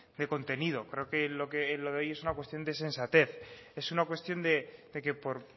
de contenido creo que lo de hoy es una cuestión sensatez es una cuestión de que por